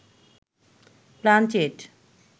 planchette